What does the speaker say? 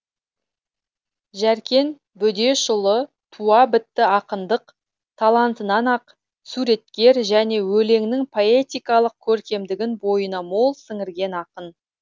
жәркен бөдешұлы туа бітті ақындық талантынан ақ суреткер және өлеңнің поэтикалық көркемдігін бойына мол сіңірген ақын